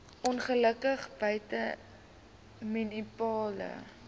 ongelukke buite munisipale